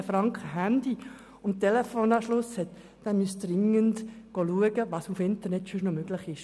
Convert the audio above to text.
Wer für Handy- und Telefonanschluss 113 Franken bezahlt, müsste dringend nachsehen, was sonst im Internet noch möglich ist.